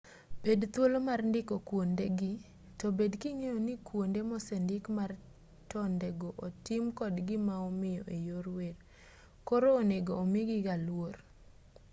bed thuolo mar ndiko kuondegi to bed king'eyo ni kuonde mosendik mar tondego otim kod gimaomiyo eyor wer koro onego omigigaa luor